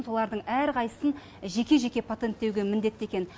солардың әрқайсысын жеке жеке патенттеуге міндетті екен